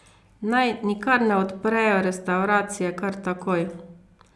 Naj nikar ne odprejo restavracije kar takoj.